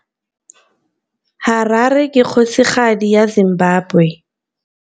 Harare ke kgosigadi ya Zimbabwe.